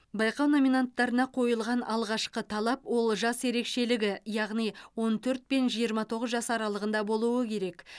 байқау номинаттарына қойылған алғашқы талап ол жас ерекшелігі яғни он төрт пен жиырма тоғыз жас аралығында болуы керек